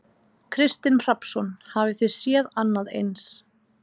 Kristinn Hrafnsson: Hafið þið séð annað eins?